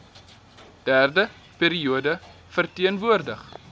derde periode verteenwoordig